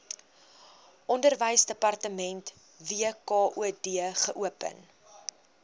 onderwysdepartement wkod geopen